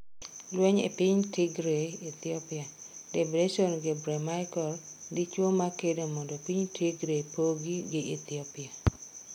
Lweny e piny Tigray Ethiopia: Debression Gebremichael, dichuo makedo mondo piny Tigray pogi gi Ethiopia